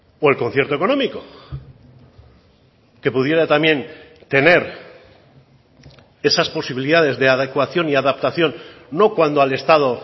o el concierto económico que pudiera también tener esas posibilidades de adecuación y adaptación no cuando al estado